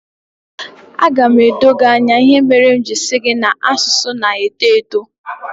Aga m edo gị anya ihe mere m ji sị na asụsụ na-eto eto